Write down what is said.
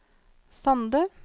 Sande